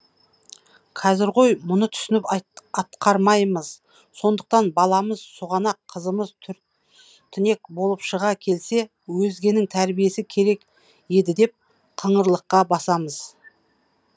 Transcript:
қазір ғой мұны түсініп атқармаймыз сондықтан баламыз сұғанақ қызымыз түр тінек болып шыға келсе өзгенің тәрбиесі керек еді деп қыңырлыққа басамыз